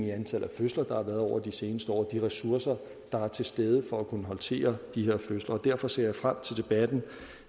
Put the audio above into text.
i antallet af fødsler der har været over de seneste år og de ressourcer der er til stede for at kunne håndtere de her fødsler derfor ser jeg frem til debatten